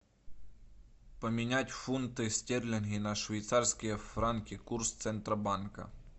поменять фунты стерлинги на швейцарские франки курс центробанка